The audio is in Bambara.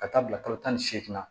Ka taa bila kalo tan ni seeginna